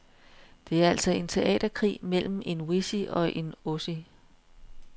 Det er altså en teaterkrig mellem en wessie og en ossie.